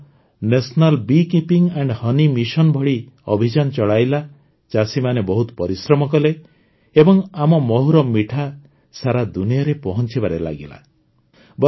ଦେଶ national bee keeping and honey mission ଭଳି ଅଭିଯାନ ଚଳାଇଲା ଚାଷୀମାନେ ବହୁତ ପରିଶ୍ରମ କଲେ ଏବଂ ଆମ ମହୁର ମିଠା ସାରା ଦୁନିଆରେ ପହଂଚିବାରେ ଲାଗିଲା